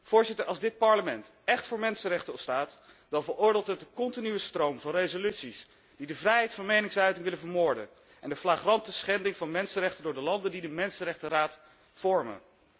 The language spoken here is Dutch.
Voorzitter, als dit Parlement echt voor mensenrechten staat, dan veroordeelt het de continue stroom van resoluties die de vrijheid van meningsuiting willen vermoorden, alsmede de flagrante schending van mensenrechten door de landen die de Raad voor de mensenrechten vormen.